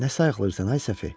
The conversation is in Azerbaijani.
Nə sayıqlıyırsan ay Səfi?